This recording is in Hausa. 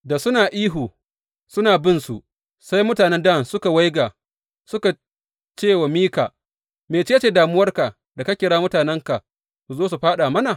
Da suna ihu suna binsu, sai mutanen Dan suka waiga suka cewa Mika, Mece ce damuwarka da ka kira mutanenka su zo su fāɗa mana?